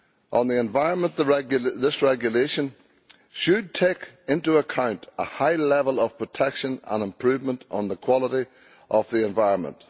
On the environment, this regulation should take into account a high level of protection and improvement in the quality of the environment.